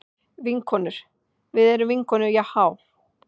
Vinkonur, við erum vinkonur Jahá.